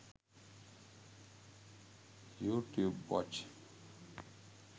youtube watch